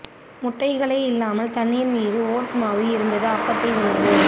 முட்டைகளை இல்லாமல் தண்ணீர் மீது ஓட் மாவு இருந்து அப்பத்தை உணவு